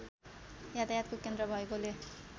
यातायातको केन्द्र भएकोले